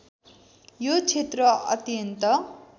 यो क्षेत्र अत्यन्त